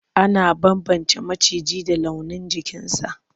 Ana bambance maciji da launin jikinsa.